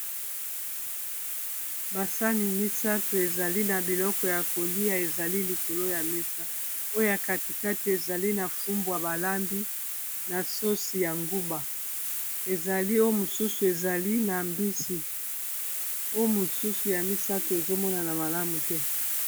basani misato ezali na biloko ya kolia ezali likolo ya mesa oyo ya katikati ezali na fumbwa balambi na sosi ya nguba ezali o mosusu ezali na mbisi o mosusu ya misato ezomonana malamu te